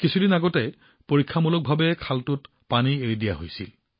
কিছুদিন আগতে পৰীক্ষাৰ সময়ত খালটোত পানী এৰি দিয়া হৈছিল